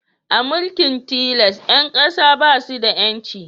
A mulkin tilas, 'yan kasan na su da 'yanci